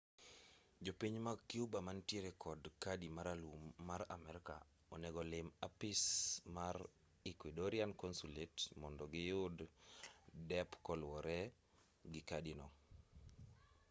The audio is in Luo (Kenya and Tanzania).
jopiny mag cuba manitiere kod kadi maralum ma amerka onego lim apis mar ecuadorian consulate mondo giyud dep koluwore gi kadi no